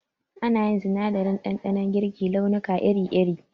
Ana yin sinadarin ɗanɗanon girki launuka iri iri